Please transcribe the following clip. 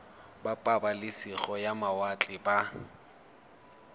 ba pabalesego ya mawatle ba